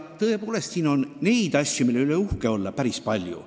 Tõepoolest, siin on neid asju, mille üle uhke olla, päris palju.